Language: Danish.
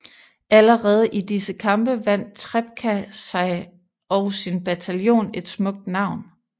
Allerede i disse kampe vandt Trepka sig og sin bataljon et smukt navn